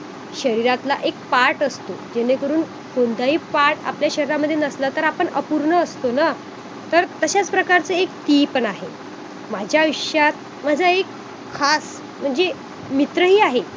जसे की आपले इतरांशी जर भांडण होत असेल किंवा अनेकांशी आपण अ चिडचिड करतो अनेकदा काही वेळा आपण अ आचानक काही तरी बोलून जातो आणि त्यामुळे आपल्याला तनाव येतो.